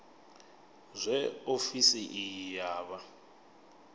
zwe ofisi iyi ya vha